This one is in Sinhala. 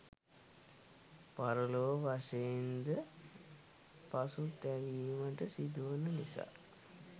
පරලොව වශයෙන් ද පසුතැවීමට සිදුවන නිසා